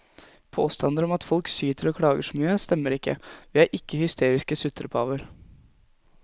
Påstander om at folk syter og klager så mye, stemmer ikke, vi er ikke hysteriske sutrepaver.